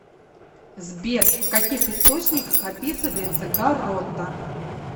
сбер в каких источниках описывается гаррота